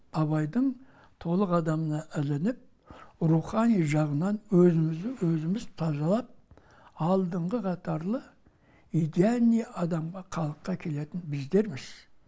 абайдың толық адамына ілініп рухани жағынан өзімізді өзіміз тазалап алдыңғы қатарлы идеальный адамға қалыпқа келетін біздерміз